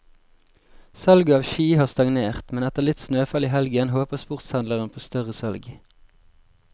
Salget av ski har stagnert, men etter litt snøfall i helgen håper sportshandleren på større salg.